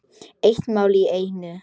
Eitt mál í einu.